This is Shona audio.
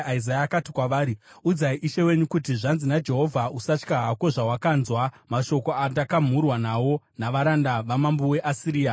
Isaya akati kwavari, “Udzai ishe wenyu kuti, ‘Zvanzi naJehovha: Usatya hako zvawakanzwa, mashoko andakamhurwa nawo navaranda vamambo weAsiria.